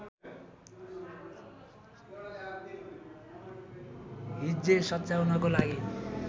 हिज्जे सच्याउनको लागि